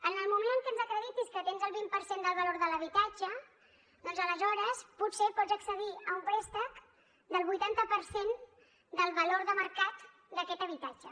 en el moment en que ens acreditis que tens el vint per cent del valor de l’habitatge doncs aleshores potser pots accedir a un préstec del vuitanta per cent del valor de mercat d’aquest habitatge